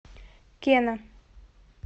кена